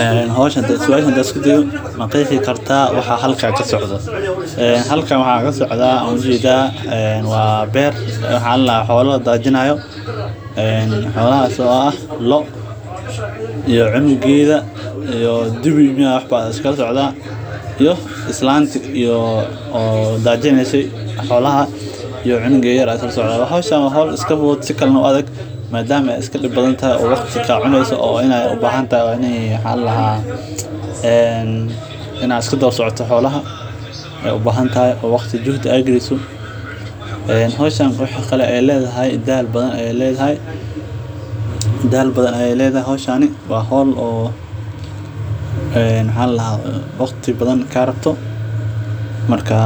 Ee suasha hadan isku dayo maqexi kartaa waxaa halkan kasocdo halkan waxaa kasocdo waa ujeda waa beer xola ladajinayo ee xolahas oo ah lo iyo cumugeda iyo dibi iyo islanta oo dajineysa xolaha iyo cunugeda lasocde hodhan oo iska adhag madama ee wax kista iska cuneyso adhiga ahanta waa in aa iska dawa socoto xolaha waxee u bahantahay in aa waqti iyo juhdi aa galiso waxee kale oo ledhahay dal badan ayey ledhahay hishani waa hol oo waqti badan karabto marka